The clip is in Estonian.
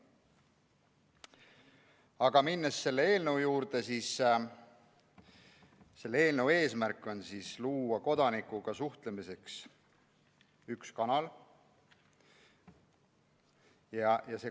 Aga minnes selle eelnõu juurde, ütlen, et selle eelnõu eesmärk on luua kodanikuga suhtlemiseks üks kanal.